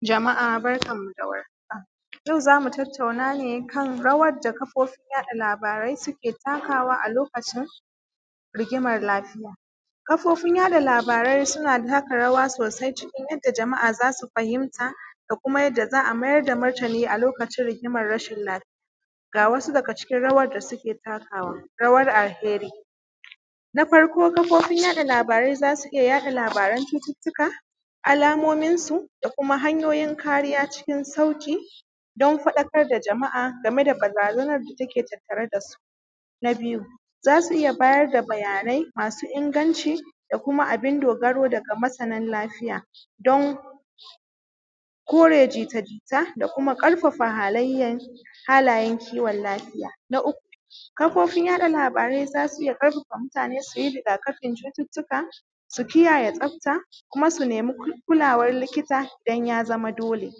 Jama’a barkanmu dawar haka yau zamu tattauna ne kan rawarda kafofin yaɗa labarai suke takawa kan lokacin rigimar lafiya. Kafofin yaɗa labarai suna taka rawa sosai cikn yadda jama’a zasu fahimta da kuma yadda za’a maida martini a lokacin rigimar rashin lafiya ga wasu daga cikin rawar da suke takawa. Rawar alheri na farko kafofin yaɗa labarai zasu iyya yaɗa labaran cututtuka alamomin su da kuma hanyoyin kariya cikin sauƙi dan faɗakar da jama’a gameda barazanar da take tattare dasu. Na biyu zasu iyya bayar da bayanai masu inganci da kuma abin dogaro daga masanan lafiya, dan kore jita jita da kuma ƙarfafa halayayn halayen kiwon lafiya. Na uku kafofin yaɗa labarai zasu iyya ƙarfafa mutane suyi rigakafin cututtuka, kiyaye tsafta kuma su naimi kulawan likita danya zama dole.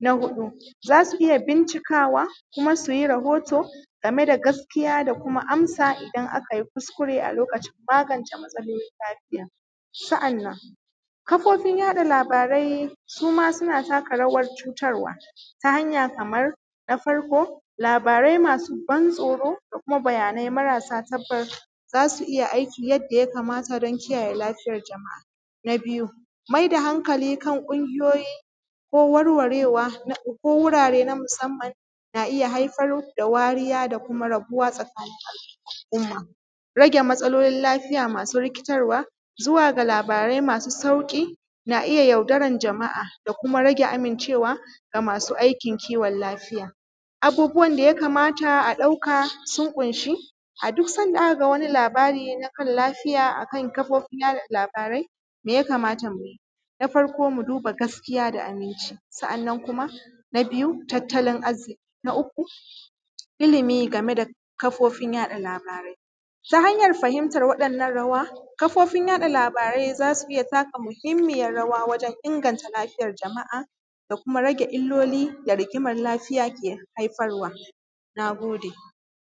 Na huɗu zasu iyya bincikawa kuma suyi rahoto gameda da gaskiya da kuma amsa idan akayi kuskure a lokacin kulawa da lafiya. sa’annan kafofin yaɗa labarai suma suna taka rawar cutarwa, ta hanya Kaman na farko labarai masu ban tsoro da kuma labarai marasa tabbas zasu iyya aiki yanda yakama ta dan kiyaye lafiyar jama’a. Na biyu maida hankali kan ƙungiyoyi ko wurare na musamman zai iyya haifar da wariya da kuma matsala a tsakanin al’umm. Rage matsalolin lafiya rikitarwa zuwa ga labarai masu saiƙi na iyya yaudaran jama’a da kuma ga masu aikin kiwon lafiya. Abubuwan daya kamata ɗauka sun ƙunshi a duk sanda a kaga wani labara na lafiya akan kafofin yaɗalabarai mai yakama ta muyi? Na farko muduba gaskiya da aminci sa’annan kuma. Na biyu tattalin arziƙi. Na uku ilimi gameda kafofin yaɗa labarai. Ta hanyar fahimta wa ‘yan’ nan rawa kafofin yaɗa labarai zasu iyya mahimmiyar rawa wajen inganta lafiyar jama’a da kuma rage illoli da rigimar lafiya ke kawowa. Nagode